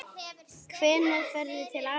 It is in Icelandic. Hvenær ferðu til afa þíns?